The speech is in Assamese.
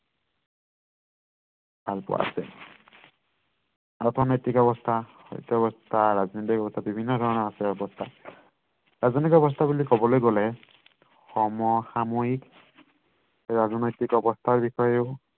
ভালপোৱা আছে অৰ্থনৈতিক অৱস্থা ৰাজনৈতিক অৱস্থা বিভিন্ন ধৰণৰ আছে এই অৱস্থা ৰাজনৈতিক অৱস্থা বুলি কবলে গলে সমসাময়িক ৰাজনৈতিক অৱস্থাৰ বিষয়েও